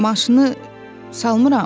Maşını salmıram?